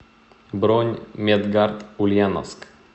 бронь медгард ульяновск